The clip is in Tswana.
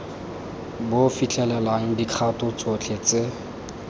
bo fitlhelelang dikgato tsotlhe tse